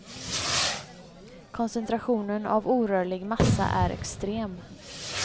Koncentrationen av orörlig massa är extrem.